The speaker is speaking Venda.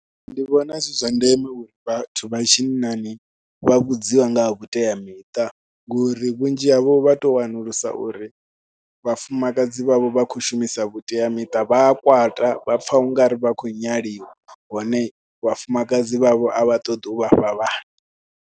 Nṋe ndi vhona zwi zwa ndeme uri vhathu vha tshinnani vha vhudziwa nga ha vhuteamiṱa ngori vhunzhi havho vha tou wanulusa uri vhafumakadzi vhavho vha khou shumisa vhuteamiṱa vha a kwata, vha pfha u nga ri vha khou nyaliwa hone vhafumakadzi vhavho a vha ṱoḓi u vha fha vhana.